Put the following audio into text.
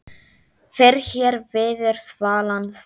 Fyrr hér viður svalan sand